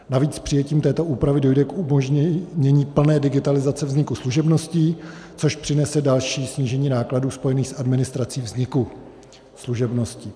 Navíc přijetím této úpravy dojde k umožnění plné digitalizace vzniku služebností, což přinese další snížení nákladů spojených s administrací vzniku služebností.